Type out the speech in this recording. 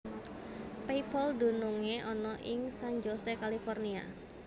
PayPal dunungé ana ing San Jose California